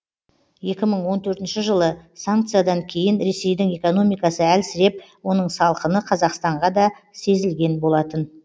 екі мың он төртінші жылы санкциядан кейін ресейдің экономикасы әлсіреп оның салқыны қазақстанға да сезілген болатын